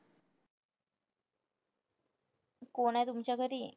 कोण आहे तुमच्या घरी?